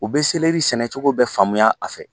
U be sɛnɛcogo bɛ faamuya a fɛ;